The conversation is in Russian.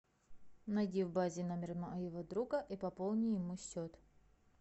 найди в базе номер моего друга и пополни ему счет